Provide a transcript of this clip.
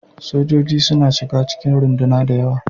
Sojoji suna shiga cikin runduna da yawa.